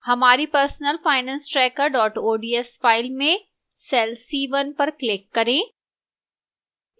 हमारी personalfinancetracker ods file में cell c1 पर click करें